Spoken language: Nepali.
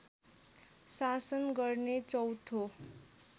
शासन गर्ने चौथो